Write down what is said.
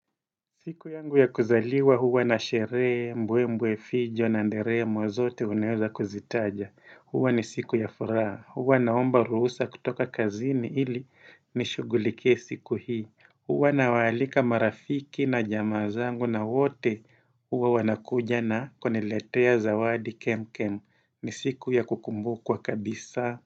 Siku yangu ya kuzaliwa huwa na sheree, mbwe mbwe fijo na nderemo zote unaeza kuzitaja. Huwa ni siku ya furaha. Huwa naomba ruhusa kutoka kazini ili nishughulikie siku hii. Huwa nawaalika marafiki na jamaa zangu na wote huwa wanakuja na kuniletea zawadi kemkem. Ni siku ya kukumbu kwa kabisa.